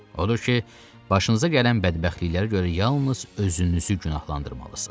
Odur ki, başınıza gələn bədbəxtliklərə görə yalnız özünüzü günahlandırmalısınız.